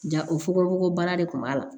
Ja o fogo fogo baara de kun b'a la